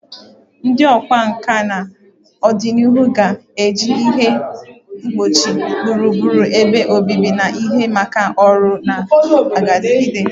Ndị ọkwá nkà na ọdịnihu ga-eji ihe ngbochi gburugburu ebe obibi na ihe maka ọrụ na-adigide.